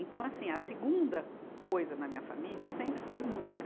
Então assim, a segunda coisa na minha família sempre foi música.